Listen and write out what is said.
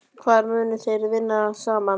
Hvar munu þeir þá vinna saman?